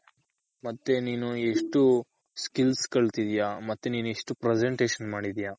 ಮತ್ತೆ ನೀನು ಎಷ್ಟು skills ಕಲ್ತಿದ್ಯ ಮತ್ತೆ ನೀನು ಎಷ್ಟ್ Presentation ಮಾಡಿದ್ಯ.